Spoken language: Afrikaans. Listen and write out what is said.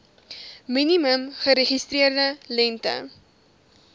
minimum geregistreerde lengte